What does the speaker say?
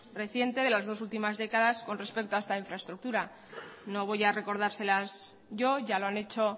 reciente de las dos últimas décadas con respecto a esta infraestructura no voy a recordárselas yo ya lo han hecho